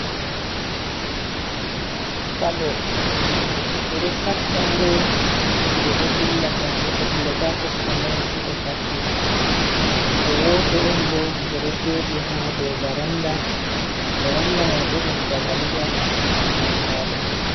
Faɗo: Ɓeɗo faɗɗa ngo to ɓeɗo dilla ngam goɗɗo dilla ta kosɗe mere seito faɗɗi ngo. Woto on bo ngo ɗo joɗi ha dow varanda, varanda mai bo ɗum dagali on tanka ɗum.